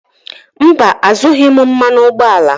Mba, azụrụghị m mmanụ ụgbọala.